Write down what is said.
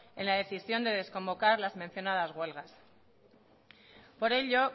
en la decisión de desconvocar las mencionadas huelgas por ello